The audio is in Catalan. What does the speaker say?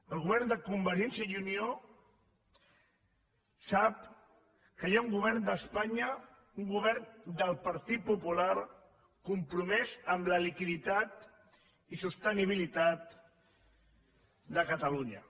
el govern de convergència i unió sap que hi ha un govern d’espanya un govern del partit popular compromès amb la liquiditat i sostenibilitat de catalunya